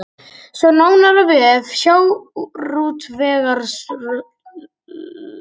Sjá nánar á vef sjávarútvegsráðuneytisins